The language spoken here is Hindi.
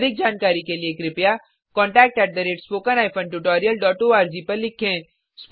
अधिक जानकारी के लिए कृपया contact at spoken hyphen tutorial dot O R G को लिखें